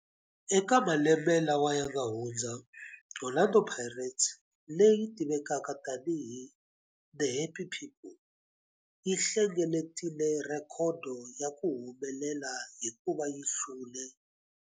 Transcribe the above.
Eka malembe lawa yanga hundza, Orlando Pirates, leyi tivekaka tani hi 'The Happy People', yi hlengeletile rhekhodo ya ku humelela hikuva yi hlule